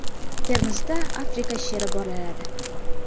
Termizda Afrika sheri bolaladi.